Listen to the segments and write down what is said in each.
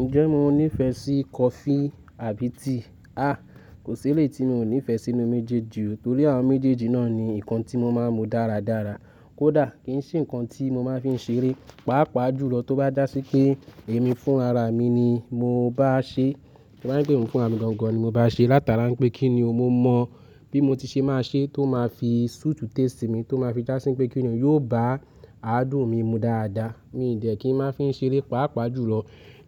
Ǹjẹ́ mo ní ìfẹ́ sí coffee àbí tea? Ah! Kò sí èléyìí tí mi ò nífẹ́ sínú méjèèjì o. Torí àwọn méjèèjì náà ni nǹkan tí mo máa ń mu dáradára. Kódà kì ń ṣe ǹkan tí mo máa ń fi ń ṣeré, pàápàá jùlọ tó bá dà sí pé èmi fún ara mi ni mo bá ṣe. Tó bá jẹ́ pé èmi fúnra gan-gan ni mo bá ṣe. Látara pé kí ni o, mo mọ bí mo ti ṣe máa ṣe tó máa fi suit taste mi, tó máa fi já sí pé kí ni ò yíò bá àádùn mi mu dáadáa. Mi dẹ̀ kí ń máa fi ń ṣeré, pàápàá jùlọ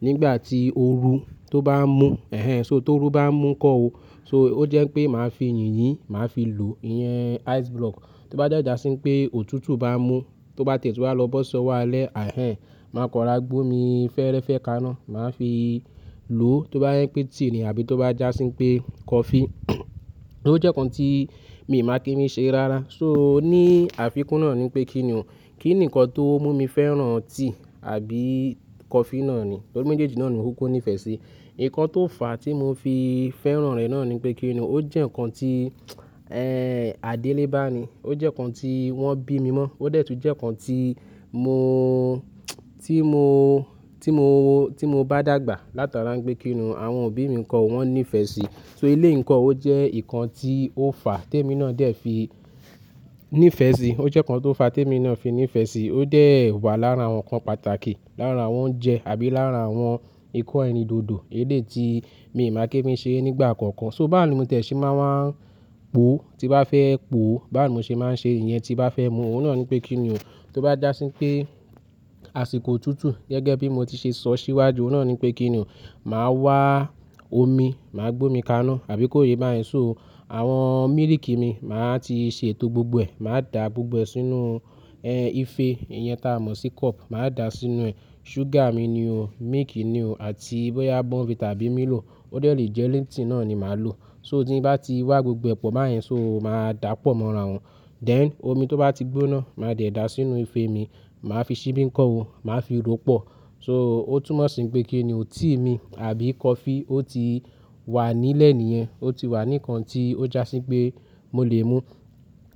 nígbà tí ooru tó bá ń mú, ẹhẹn. So tó rú bá ń mú ńkọ́ o. So ó jẹ́ pé màá fi yìnyín, màá fi lò ìyẹn ice block. Tó bá dé já sí pé òtútù bá ń mú, tó bá té tú wá lọ́ bọ́ sọ́wọ́ alẹ́, àihẹn, màá kọra gbómi fẹ́ẹ́rẹ́fẹ́ kaná, màá fi lò. Tó bá yẹ pé tea ni àbí tó bá já sí pé coffee, ó jẹ́ ǹkan tí mi máa kí n fi ṣeré rárá. So ní àfikún náà ni pé kí ni o, kí ni ǹkan tó mú mi fẹ́ràn tea àbí coffee náà ni? Torí méjèèjì náà ni mo kúkú ní ìfẹ́ sí. Ǹkan tó fà á tí mo fi fẹ́ràn rẹ̀ náà ni pé kí ni o, ó jẹ́ ǹkan tí, àdélébá ni. Ó jẹ́ ǹkan tí wọ́n bí mi mọ́. Ó dẹ̀ tún jẹ́ ǹkan tí mo, tí mo, tí mo, tí mo bá dàgbà, látara pé kí ni o, àwọn òbí mi ńkọ́ o, wọ́n ní ìfẹ́ sí. So eléyí ǹkọ́- ó jẹ́ ǹkan tí ó fà á tèmi náà dẹ̀ fi ní ìfẹ́ sí. Ó jẹ́ ǹkan tó fà á tí èmi náà fi ní ìfẹ́ sí. Ó dẹ̀ wà láàra àwọn ǹkan pàtàkì, láàra àwọn oúnjẹ àbí láàra àwọn ikọ́ ẹni dodo elé tí mi máa kí mi ṣe nígbà kankan. So bá ni mo tẹ̀ sí máa ń wá ń pò tí bá fẹ́ pò, bá ni mo ṣe máa ń ṣe ìyẹn tí bá fẹ́ mu. Òun náà ni pé kí ni o, tó bá dà sí pé àsìkò òtútù, gẹ́gẹ́ bí mo ti ṣe sọ síwájú, òun náà ni pé kí ni o, màá wá omi, màá gbómi kaná àbí kó yé bá yẹn. So àwọn mílìkì mi màá ti ṣe tó gbogbo ẹ, màá da gbogbo ẹ sínú ìfẹ́, ìyẹn táa mọ̀ sí cup, màá dà sínú ẹ̀. Sugar mi ni o, milk ni o àti bọ́yá burnvita àbí Milo, ó dẹ̀ lè jẹ́ lipton náà ni màá lò. So tí bá ti wá gbogbo ẹ pò bá yẹn, so màá dàpọ̀ mọ́ ara wọn. Then omi tó bá ti gbóná, màá dẹ̀ dà sínú ìfẹ́ mi, màá fi ṣíbí ńkọ́ o, màá fi rópọ̀. So ó túnmọ̀ sí pé kí ni o, tea mi àbí coffee ó ti wà nílẹ̀ níyẹn. Ó ti wà ní ǹkan tí ó já sí pé mo lè mú.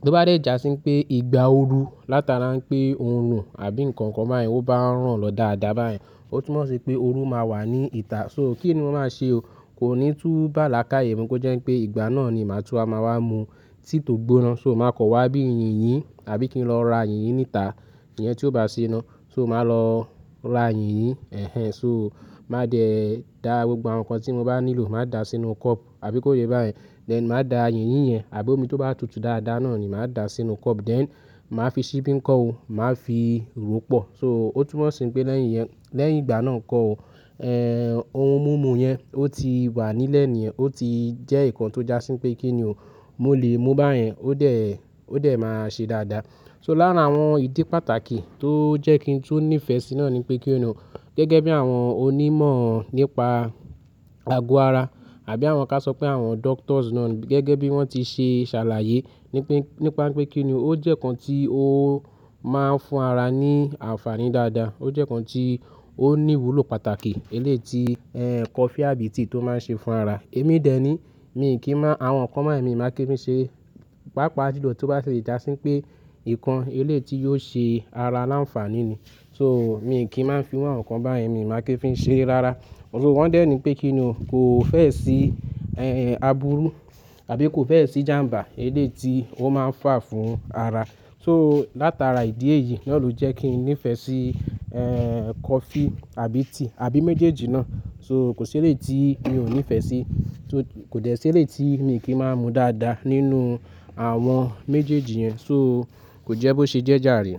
Tó bá dẹ̀ já sí pé ìgbà ooru látara ǹpé òórùn àbí ǹkan kan bá yẹn, ó bá ń rán lọ dáadáa bá yẹn. Ó túnmọ̀ sí pé ooru máa wà ní ìta. So kí ni mo máa ṣe o? Kò ní tú bá lákàyè mú kó jẹ́ pé ìgbà náà ni màá tún á máa wá mu tea tó gbóná. So màá kọ̀ wá bí yìnyín, àbí kí n lọ ra yìnyín níta, ìyẹn tí ó bá ṣì iná so màá lọ ra yìnyín, ẹ̀hẹn. So màá dẹ̀ dà gbogbo àwọn ǹkan tí mo bá nílò, màá dà sínú cup àbí kó yé bá yẹn. Then màá dà yìnyín yẹn àbí omi tó bá tutù dáadáa náà ni màá dà sínú cup then màá fi ṣíbí ńkọ́ o, màá fi rópọ̀. So ó túnmọ̀ sí pé lẹ́yìn ìyẹn, lẹ́yìn ìgbà náà kọ́ o, ohun mímu yẹn ó ti wà nílẹ̀ níyẹn. Ó ti jẹ́ ǹkan tó já sí pé kí ni o, mo lè mú bá yẹn. Ó dẹ̀, ó dẹ̀ máa ṣe dáadáa. So láàra àwọn ìdí pàtàkì tó jẹ́ kí n tún ní ìfẹ́ sí náà ni pé kí ni o, gẹ́gẹ́ bí àwọn onímọ̀ nípa ago ara àbí àwọn ká ṣọ pé àwọn doctors náà gẹ́gẹ́ bí wọ́n ti ṣe ṣàlàyé ní pé, nípa pé kí ni o, ó jẹ́ ǹkan tí ó máa ń fún ara ní àǹfààní dáadáa. Ó jẹ́ ǹkan tí ó ní ìwúlò pàtàkì eléyí tí coffee àbí tea tó máa ń ṣe fún ara. Èmi dẹ̀ ní, mi kì í mọ àwọn ǹkan báyìí mi máa kí mi ṣe, pàápàá jùlọ tó bá ṣe já sí pé ǹkan eléyìí tí yíò ṣe ara láǹfààní ni. So mi kì í máa ń fi irú àwọn ǹkan bá yẹn mi máa kí ń fi ń ṣeré rárá. So wọ́n dẹ̀ ní pé kí ni o, kò fẹ́ sí àbúrú àbí kò fẹ́ sí ìjàǹbá eléyìí tí ó máa ń fà fún ara. So látara ìdí èyí náà ló jẹ́ kí n ní ìfẹ́ sí coffee àbí tea àbí méjèèjì náà. So kò sí èléyìí tí mi ò ní ìfẹ́ sí. So kò dẹ́ sí èléyìí tí mi kì í máa ń mu dáadáa nínú àwọn méjèèjì yẹn. So kò jẹ́ bó ṣe jẹ́ jàre.